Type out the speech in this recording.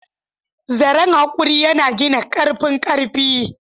Zaren haƙuri yana gina ƙarfin ƙarfi.